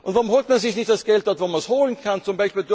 Warum holt man sich nicht das Geld dort, wo man es holen kann, z.